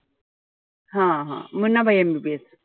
हा-हा MBBS.